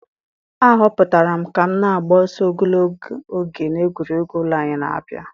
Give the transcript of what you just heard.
A họpụtara m ka m na-agba ọsọ ogologo oge na egwuregwu ụlọ anyị na-abịa.